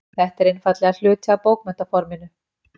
Þetta er einfaldlega hluti af bókmenntaforminu.